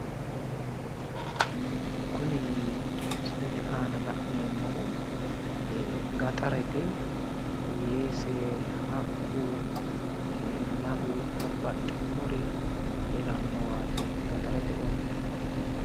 Kuni misilete aana la'neemmohu gaxarete. Weese, haqqu, lalu, babbaxxinnori heerannowaati. Gaxarete ollati.